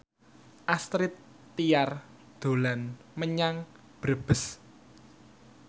Astrid Tiar dolan menyang Brebes